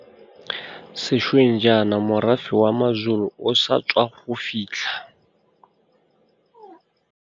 Sešweng jaana morafe wa maZulu o sa tswa go fitlha.